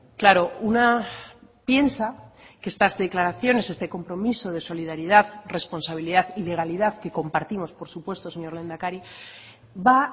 claro una piensa que estas declaraciones este compromiso de solidaridad responsabilidad y legalidad que compartimos por supuesto señor lehendakari va a